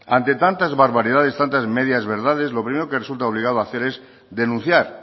ante tantas barbaridades y tantas medias verdades lo primero que resulta obligado hacer es denunciar